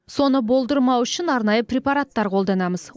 соны болдырмау үшін арнайы препараттар қолданамыз